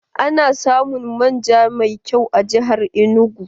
Ana samun manja mai kyau a jihar Enugu.